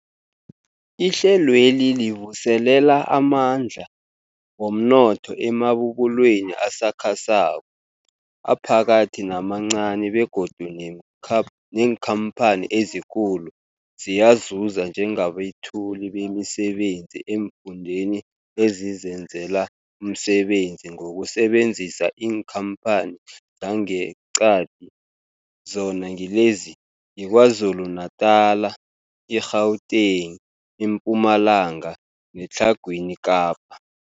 Ihlelweli livuselela amandla womnotho emabubulweni asakhasako, aphakathi namancani begodu neenkha neenkhamphani ezikulu ziyazuza njengabethuli bemisebenzi eemfundeni ezizenzela umsebenzi ngokusebenzisa iinkhamphani zangeqadi, zona ngilezi, yiKwaZulu-Natala, i-Gauteng, iMpumalanga neTlhagwini Kapa.